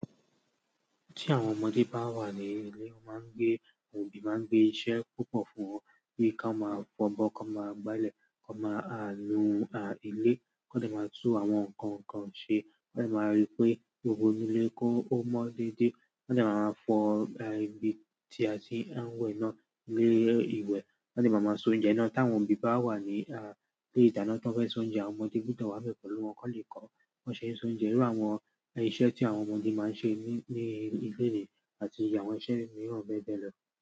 Tí àwọn ọmọdé bá wà ní ilé, wọ́n máa ń gbé, àwọn òbí máa ń gbé iṣẹ́ púpọ̀ fún wọn kí wọ́n máa fọ́bọ́, kí wọ́n máa gbálẹ̀, kí wọ́n máa lu ilé, kí wọ́n lè máa tú àwọn nǹkan kan ṣe, kí wọ́n lè máa ríi pé gbogbo inú ilé kó ó mọ́ dédé, kí wọ́n lè máa fọ ibi tí a ti ń wẹ̀ náà lé ìwẹ̀, kí wọ́n lè máa soúnjẹ náà. Tí àwọn òbí bá wà ní ilé ìdáná tán fẹ́ soúnjẹ, àwọn ọmọdé búdọ̀ wá bẹ́ pẹ̀lú wọn kí wọ́n lè kọ̀ ọ́ ṣe é soúnjẹ. Irú àwọn iṣẹ́ tí àwọn ọmọdé máa ń ṣe ní ilé ìwé àti àwọn iṣẹ́ mìíràn bẹ́ẹ̀ bẹ́ẹ̀ lọ.